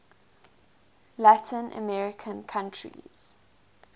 latin american countries